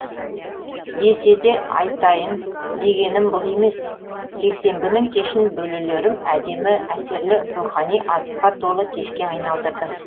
десе де айтайын дегенім бұл емес жексенбінің кешін бөлелерім әдемі әсерлі рухани азыққа толы кешке айналдырды